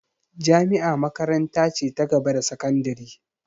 Jami'a makaranta ce ta gaba da sakandire